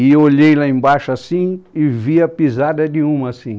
E olhei lá embaixo assim e vi a pisada de uma assim.